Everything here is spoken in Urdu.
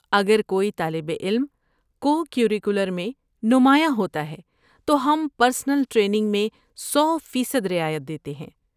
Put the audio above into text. اگر کوئی طالب علم کو کریکولر میں نمایاں ہوتا ہے تو ہم پرسنل ٹریننگ میں سو فیصد رعایت دیتے ہیں